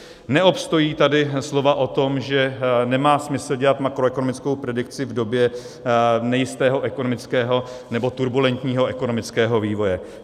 Neobstojí tady slova o tom, že nemá smysl dělat makroekonomickou predikci v době nejistého ekonomického nebo turbulentního ekonomického vývoje.